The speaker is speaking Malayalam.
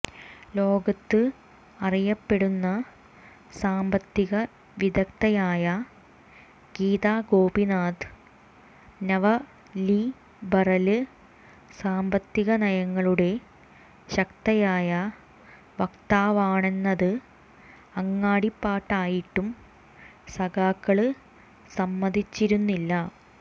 ലോകത്ത് അറിയപ്പെടുന്ന സാമ്പത്തിക വിദഗ്ധയായ ഗീതാ ഗോപിനാഥ് നവലിബറല് സാമ്പത്തിക നയങ്ങളുടെ ശക്തയായ വക്താവാണെന്നത് അങ്ങാടിപ്പാട്ടായിട്ടും സഖാക്കള് സമ്മതിച്ചിരുന്നില്ല